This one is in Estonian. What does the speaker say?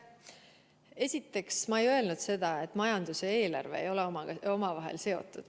Esiteks, ma ei öelnud seda, et majandus ja eelarve ei ole omavahel seotud.